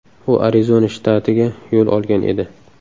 U Arizona shtatiga yo‘l olgan edi.